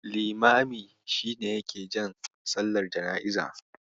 Limami shi ne yake jan sallar jana'iza.